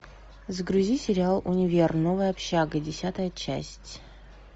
загрузи сериал универ новая общага десятая часть